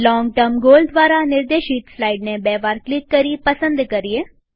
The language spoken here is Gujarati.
લોંગ ટર્મ ગોલ દ્વારા નિર્દેશિત સ્લાઈડને બે વાર ક્લિક કરી પસંદ કરીએ